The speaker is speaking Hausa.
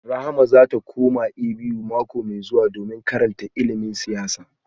Rahama za ta koma A.B.U. mako mai zuwa domin karanta ilimin siyasa